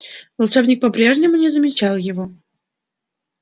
волшебник по-прежнему не замечал его